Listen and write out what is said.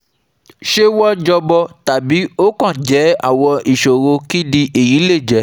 Ṣé wọ́n jọmọ, tàbí ó kàn jẹ́ àwọn ìṣòro kini eyi le je?